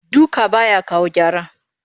Duka ba ya kawo gyara